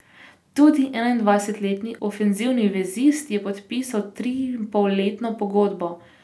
Tudi enaindvajsetletni ofenzivni vezist je podpisal triinpolletno pogodbo.